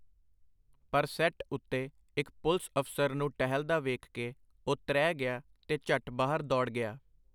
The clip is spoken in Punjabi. ਪਰ ਸੈੱਟ ਉਤੇ ਇਕ ਪੁਲਸ ਅਫਸਰ ਨੂੰ ਟਹਿਲਦਾ ਵੇਖ ਕੇ ਉਹ ਤ੍ਰਹਿ ਗਿਆ, ਤੇ ਝਟ ਬਾਹਰ ਦੌੜ ਗਿਆ.